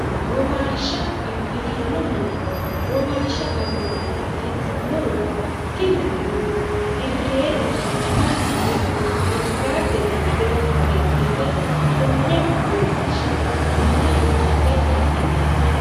womaashsha abbitanno muro womaashsha abbitannoti murono tini murono hirreenna mannuwe naggaadde dagge hidhite konne womaashsha mannaho uute adhitanno